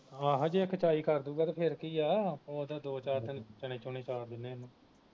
ਆਹੋ ਤੇ ਕੇਚਾਈ ਕਰ ਦੁਗਾ ਤੇ ਫਿਰ ਕੀ ਆ ਉਹ ਤੇ ਦੋ ਚਾਰ ਦਿਨ ਚਨੇ ਚੁਨੇ ਚਾਰ ਦੀਨੇ ਇਹਨੂੰ